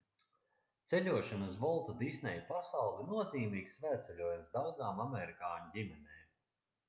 ceļošana uz volta disneja pasauli ir nozīmīgs svētceļojums daudzām amerikāņu ģimenēm